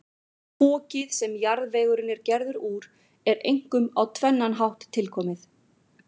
Fokið, sem jarðvegurinn er gerður úr, er einkum á tvennan hátt tilkomið.